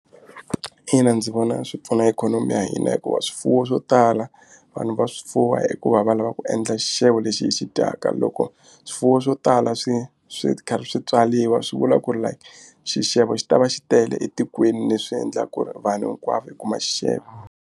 Ina ndzi vona swi pfuna ikhonomi ya hina hikuva swifuwo swo tala vanhu va swi fuwa i ku va va lava ku endla xixevo lexi hi xi dyaka loko swifuwo swo tala swi swi karhi swi tswariwa swi vula ku ri like xixevo xi ta va xi tele etikweni leswi endlaku ku ri vanhu hinkwavo hi kuma xixevo.